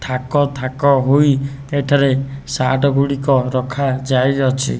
ଥାକ ଥାକ ହୋଇ ଏଠାରେ ସାର୍ଟ ଗୁଡ଼ିକ ରଖାଯାଇଅଛି।